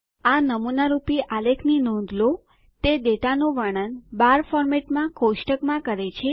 આ નમૂનારૂપી આલેખની નોંધ લો તે ડેટાનું વર્ણન બાર ફોરમેટમાં કોષ્ટકમાં કરે છે